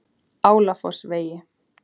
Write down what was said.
Álafossvegi